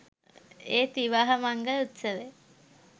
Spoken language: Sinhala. ඒත් විවාහ මංගල උත්සවය